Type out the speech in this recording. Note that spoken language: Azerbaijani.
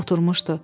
Oturmuşdu.